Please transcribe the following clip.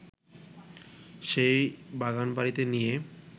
সেই বাগানবাড়িতে নিয়ে